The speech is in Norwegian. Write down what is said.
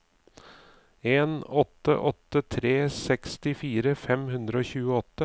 en åtte åtte tre sekstifire fem hundre og tjueåtte